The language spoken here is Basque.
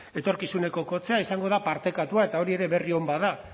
etorkizuneko kotxea izango da partekatua eta hori ere berri on bat da